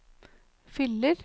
fyller